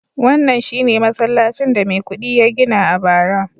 wannan shi ne masallacin da Maikudi ya gina a bara